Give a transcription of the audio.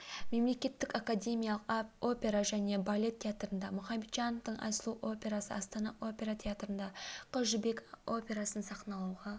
мемлекеттік академиялық опера және балет театрында мұхамеджанвтың айсұлу операсы астана опера театрында қыз жібек операсын сахналауға